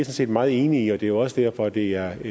set meget enig i og det er også derfor det er